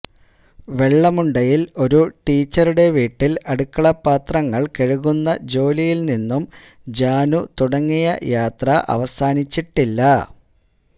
വെള്ളമുണ്ടയിൽ ഒരു ടീച്ചറുടെ വീട്ടിൽ അടുക്കള പാത്രങ്ങൾ കഴുകുന്ന ജോലിയിൽ നിന്നും ജാനു തുടങ്ങിയ യാത്ര അവസാനിച്ചിട്ടില്ല